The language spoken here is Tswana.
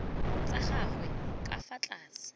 tsa gagwe ka fa tlase